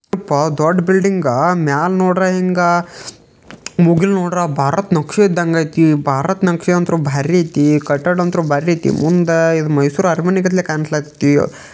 ಇದು ದೊಡ್ಡ ಬಿಲ್ಡಿಂಗ ಮೇಲೆ ನೋಡಿದ್ರಾ ಮುಗಿಲ್ ನೋಡಿದ್ರಾ ಭಾರತ್ ನಕ್ಷೆ ಇದ್ದಂಗ್ ಐತಿ ಭಾರತ್ ನಕ್ಷೆ ಅಂತೂ ಬಾರಿ ಐತಿ. ಕಟ್ಟಡ ಅಂತೂ ಬಾರಿ ಐತಿ ಮುಂದ ಮೈಸೂರ್ ಅರಮನೆ ಕಾಣ್ತೈತಿ.